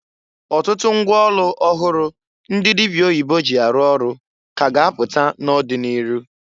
Ọtụtụ ngwa ọlụ ọhụrụ ndị dịbịa oyibo ji arụ ọrụ ka a ga apụta n'ọdị n'ịrụ.